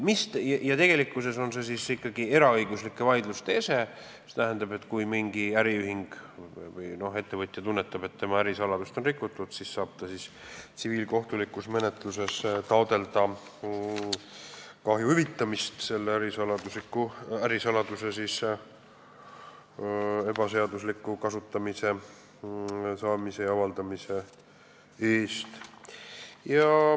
Tegelikkuses on see ikkagi eraõiguslike vaidluste ese, st kui mingi äriühing või ettevõtja tunnetab, et tema ärisaladust on rikutud, siis saab ta tsiviilkohtulikus menetluses taotleda kahju hüvitamist ärisaladuse ebaseadusliku saamise, kasutamise ja avaldamise eest.